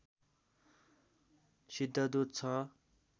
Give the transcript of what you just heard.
सिद्धदूत छ